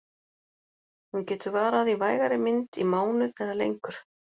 Hún getur varað í vægari mynd í mánuð eða lengur.